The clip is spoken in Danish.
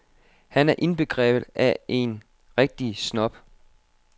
Han er indbegrebet af en rigtig snob.